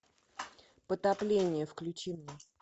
потопление включи мне